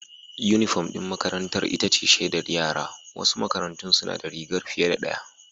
Unifom ɗin makarantar ita ce shaidar yara, wasu makarantun suna da rigar fiye da ɗaya.